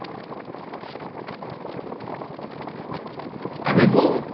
আগে তো